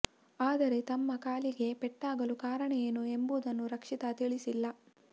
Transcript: ಆದರೆ ತಮ್ಮ ಕಾಲಿಗೆ ಪೆಟ್ಟಾಗಲು ಕಾರಣ ಏನು ಎಂಬುದನ್ನು ರಕ್ಷಿತಾ ತಿಳಿಸಿಲ್ಲ